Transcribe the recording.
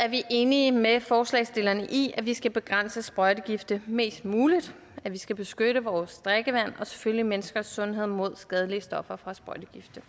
er vi enige med forslagsstillerne i at vi skal begrænse sprøjtegifte mest muligt og at vi skal beskytte vores drikkevand og selvfølgelig menneskers sundhed mod skadelige stoffer fra sprøjtegifte